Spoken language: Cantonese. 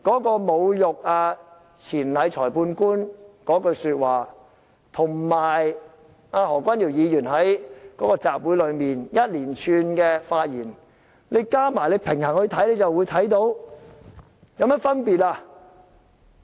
把侮辱裁判官錢禮的話與何君堯議員在集會上一連串的發言比較一下，放在一起看，就會看到兩者並無甚麼分別。